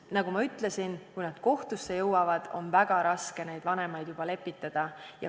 Nagu ma ütlesin, kui nad kohtusse jõuavad, on juba väga raske vanemaid lepitada.